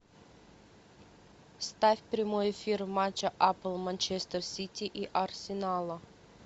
ставь прямой эфир матча апл манчестер сити и арсенала